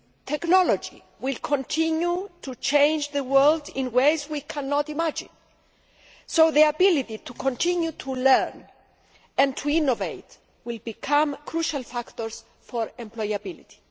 Technology will continue to change the world in ways we cannot imagine, so the ability to continue to learn and to innovate will become crucial factors for employability.